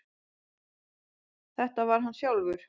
Þetta var hann sjálfur.